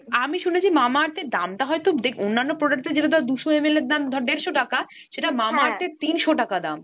আমি শুনেছি Mamaearth এর দাম টা হয়তো দ্যাখ অন্যান্য product এর যেটা ধর দুশো ml এর দাম ধর দেড়শো টাকা, তিনশো টাকা দাম।